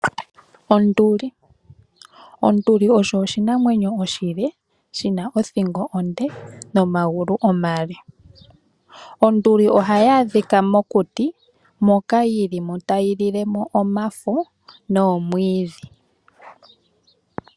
Onduli. Onduli osho oshinamwenyo oshile, shi na othingo onde, nomagulu omale. Onduli ohayi adhika mokuti, moka yili mo tayi lile mo omafo, noomwiidhi.